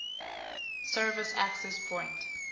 service access point